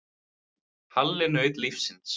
Já, Halli naut lífsins.